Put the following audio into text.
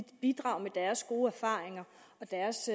bidrage med deres gode erfaringer og deres